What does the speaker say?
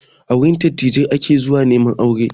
A wurin dattijai ake zuwa neman aure